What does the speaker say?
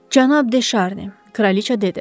Cənab De Şarni, kraliça dedi.